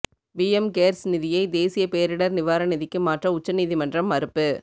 PM cares நிதியை தேசிய பேரிடா் நிவாரண நிதிக்கு மாற்ற உச்சநீதிமன்றம் மறுப்பு